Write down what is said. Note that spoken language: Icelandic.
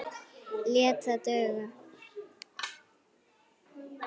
Lét það duga.